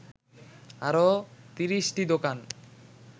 আরও ৩০টি দোকান